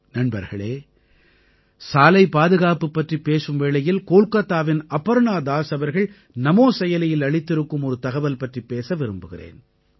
நண்பர்களே சாலை பாதுகாப்பு பற்றிப் பேசும் வேளையில் கோல்காத்தாவின் அபர்ணா தாஸ் அவர்கள் நமோ செயலியில் அளித்திருக்கும் ஒரு தகவல் பற்றிப் பேச விரும்புகிறேன்